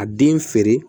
A den feere